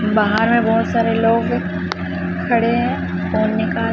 बाहर में बहोत सारे लोग खड़े है और निकाल--